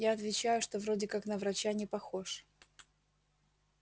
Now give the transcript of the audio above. я отвечаю что вроде как на врача не похож